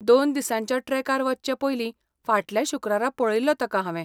दोन दिसांच्या ट्रॅकार वच्चें पयली फाटल्या शुक्रारा पळयिल्लो ताका हावें.